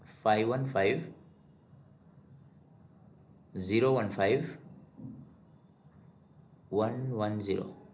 five one five zero one five one one zero